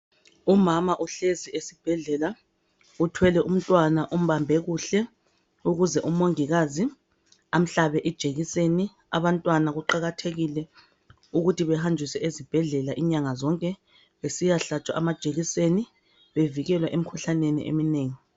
Umama uhlezi esibhedlela uthwele umntwana umbambe kuhle ukuze umongikazi amhlabe ijekiseni abantwana kuqakathekile ukuthi behanjiswe ezibhedlela inyanga zonke besiyahlatshwa amajekiseni bevikelwa emikhuhlaneni eminengi